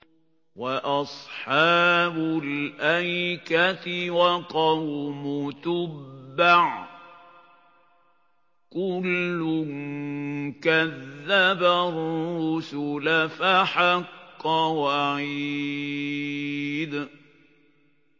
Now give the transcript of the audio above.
وَأَصْحَابُ الْأَيْكَةِ وَقَوْمُ تُبَّعٍ ۚ كُلٌّ كَذَّبَ الرُّسُلَ فَحَقَّ وَعِيدِ